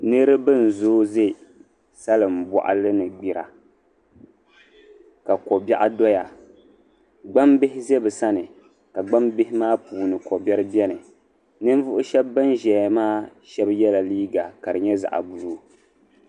Niriba nzoo ze saliŋ boɣali ni gbira ka kobeɣ doya gbambihi ze bisani kagbambihi maa puuni kobeɣ beni ninvuɣ'sheb binzeya maa sheb yela leega kadinye zaɣ' bului